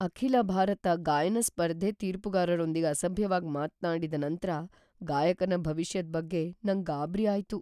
ಅಖಿಲ ಭಾರತ ಗಾಯನ ಸ್ಪರ್ಧೆ ತೀರ್ಪುಗಾರರೊಂದಿಗ್ ಅಸಭ್ಯವಾಗ್ ಮಾತ್ನಾಡಿದ ನಂತ್ರ ಗಾಯಕನ ಭವಿಷ್ಯದ್ ಬಗ್ಗೆ ನಂಗ್ ಗಾಬರಿ ಆಯ್ತು.